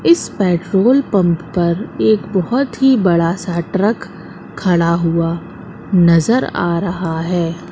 इस petrol pump पर एक बहोत ही बड़ासा ट्रक खड़ा हुआ नजर आ रहा हैं।